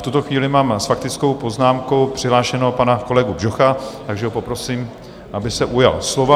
V tuto chvíli mám s faktickou poznámkou přihlášeného pana kolegu Bžocha, takže ho poprosím, aby se ujal slova.